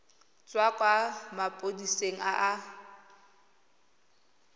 tswa kwa maphodiseng a a